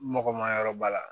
Mɔgɔ ma yɔrɔ ba la